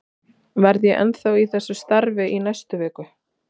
Verð ég ennþá í þessu starfi í næstu viku?